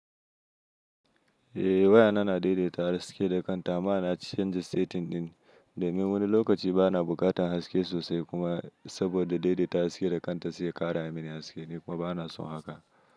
Eh wayana na daidaita haske da kanta. Ama na canza setting ɗin domin wani lokaci bana buƙatar haske sosai kuma saboda daidaita haske da kanta sai ya ƙara mini haske ni kuma bana so haka.